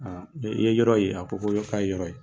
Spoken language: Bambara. Aa i ye yɔrɔ ye wa? a ko k' a ye yɔrɔ ye.